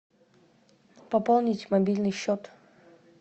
пополнить мобильный счет